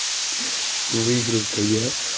выиграл то я